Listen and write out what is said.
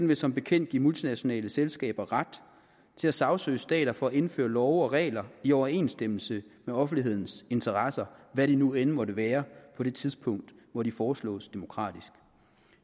vil som bekendt give multinationale selskaber ret til at sagsøge stater for at indføre love og regler i overensstemmelse med offentlighedens interesser hvad de nu end måtte være på det tidspunkt hvor de foreslås demokratisk